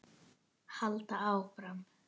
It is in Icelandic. Halda áfram.